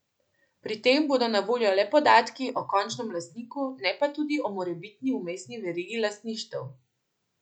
Pri tem bodo na voljo le podatki o končnem lastniku, ne pa tudi o morebitni vmesni verigi lastništev.